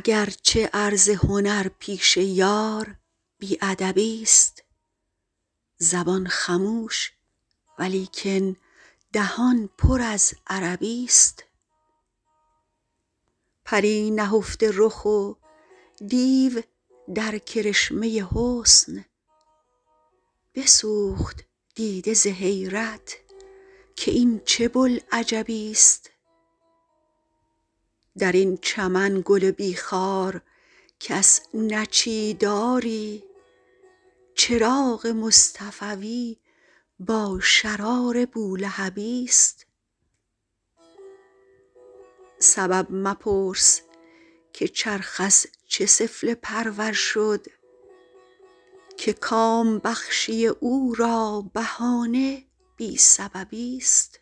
اگر چه عرض هنر پیش یار بی ادبی ست زبان خموش ولیکن دهان پر از عربی ست پری نهفته رخ و دیو در کرشمه حسن بسوخت دیده ز حیرت که این چه بوالعجبی ست در این چمن گل بی خار کس نچید آری چراغ مصطفوی با شرار بولهبی ست سبب مپرس که چرخ از چه سفله پرور شد که کام بخشی او را بهانه بی سببی ست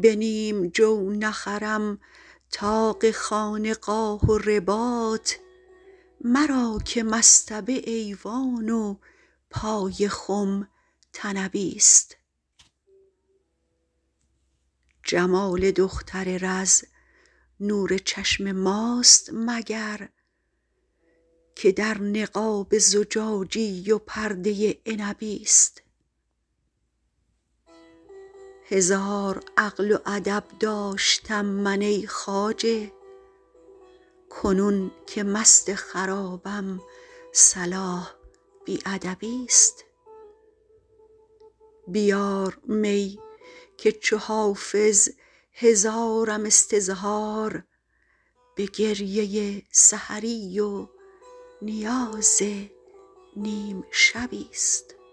به نیم جو نخرم طاق خانقاه و رباط مرا که مصطبه ایوان و پای خم طنبی ست جمال دختر رز نور چشم ماست مگر که در نقاب زجاجی و پرده عنبی ست هزار عقل و ادب داشتم من ای خواجه کنون که مست خرابم صلاح بی ادبی ست بیار می که چو حافظ هزارم استظهار به گریه سحری و نیاز نیم شبی ست